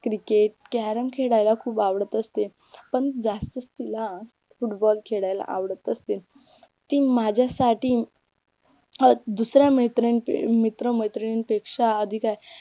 cricket, carrom खेळायला खूप आवडत असते पण जास्तच तिला फुटबॉल खेळायला आवडत असते ती माझ्यासाठी अं दुसऱ्या मैत्रीण मित्र मैत्रीणपेक्षा अधिक आहे